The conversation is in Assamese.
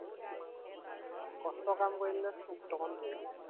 কষ্ট কাম কৰি দিলে টো অকনমান পৰিবই।